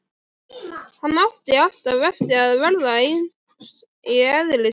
Hann átti alltaf eftir að verða eins í eðli sínu.